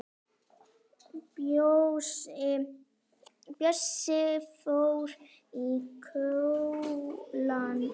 Bjössi fór í skólann en